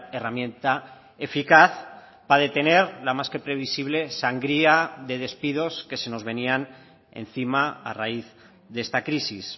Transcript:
herramienta eficaz para detener la más que previsible sangría de despidos que se nos venían encima a raíz de esta crisis